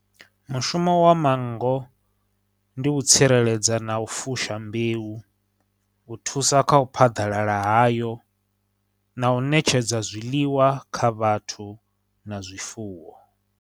Mushumo wa manngo ndi u tsireledza na u fusha mbeu, u thusa kha u phaḓalala hayo, na u ṋetshedza zwiḽiwa kha vhathu na zwifuwo.